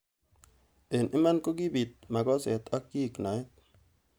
Eng iman kokibit makoset ak kiek naet.